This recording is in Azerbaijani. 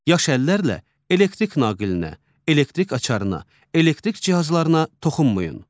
Yaş əllərlə elektrik naqilinə, elektrik açarına, elektrik cihazlarına toxunmayın.